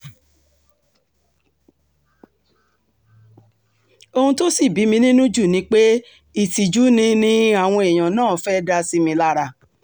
ohun tó sì bí mi nínú jù ni pé ìtìjú ni ni àwọn èèyàn náà fẹ́ẹ́ dá sí mi lára